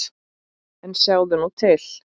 En sjáðu nú til!